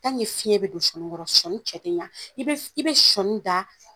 Tanke fiɲɛ bɛ don sɔni kɔrɔ sɔni cɛ tɛ ɲan i bɛ i bɛ sɔni da